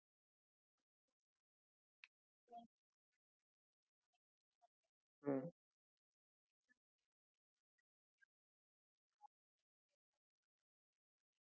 आह हो sir twenty four by seven ची cooling system आणि जे फिचर्स या फ्रिज मध्ये नाहीत ते advanced features या मध्ये केलेले आहेत मध्ये या fridge मध्ये तुम्हाला